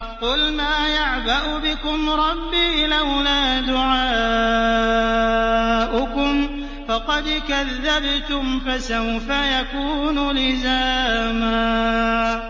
قُلْ مَا يَعْبَأُ بِكُمْ رَبِّي لَوْلَا دُعَاؤُكُمْ ۖ فَقَدْ كَذَّبْتُمْ فَسَوْفَ يَكُونُ لِزَامًا